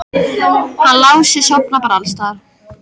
Hann Lási sofnar bara alls staðar.